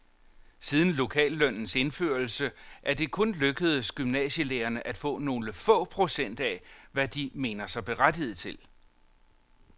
Siden lokallønnens indførelse er det kun lykkedes gymnasielærerne at få nogle få procent af, hvad de mener sig berettiget til.